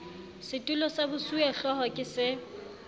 setulo sa bosuwehlooho ke se